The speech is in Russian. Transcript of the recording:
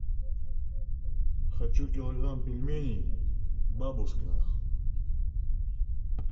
хочу килограмм пельменей бабушкиных